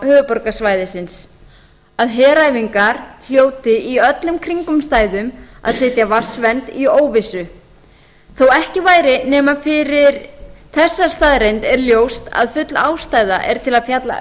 höfuðborgarsvæðisins að heræfingar hljóti undir öllum kringumstæðum að setja vatnsvernd í óvissu þó ekki væri nema fyrir þessa staðreynd er ljóst að full ástæða er til að fjalla